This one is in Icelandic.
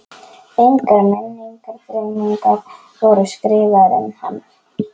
Engar minningargreinar voru skrifaðar um hann.